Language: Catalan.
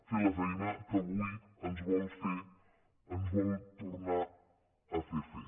fer la feina que avui ens vol tornar a fer fer